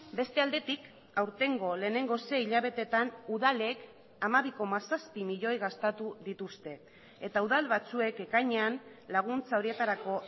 beste aldetik aurtengo lehenengo sei hilabeteetan udalek hamabi koma zazpi milioi gastatu dituzte eta udal batzuek ekainean laguntza horietarako